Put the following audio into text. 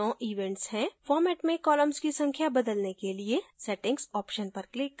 format में columns की संख्या बदलने के लिए settings option पर click करें